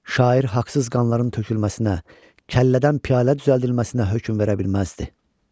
Şair haqsız qanların tökülməsinə, kəllədən piyalə düzəldilməsinə hökm verə bilməzdi.